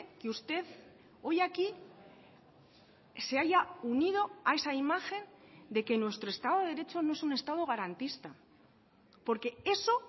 que usted hoy aquí se haya unido a esa imagen de que nuestro estado de derecho no es un estado garantista porque eso